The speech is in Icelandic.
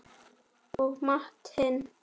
Og matinn